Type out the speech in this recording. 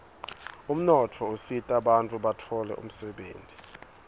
umnotfo usita bantfu batfole umdebenti